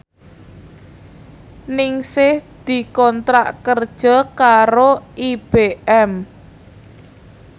Ningsih dikontrak kerja karo IBM